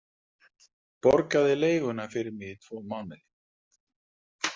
Borgaði leiguna fyrir mig í tvo mánuði.